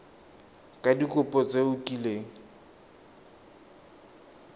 ka dikopo tse o kileng